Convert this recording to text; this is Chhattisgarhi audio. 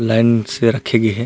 लाइन से रखे गे हे।